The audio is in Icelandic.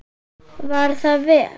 Var það vel.